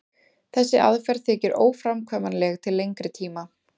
þessi aðferð þykir óframkvæmanleg til lengri tíma